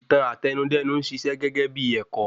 Ìtàn Àtẹnudẹ́nu n ṣiṣẹ́ gégébí ẹ̀kọ́.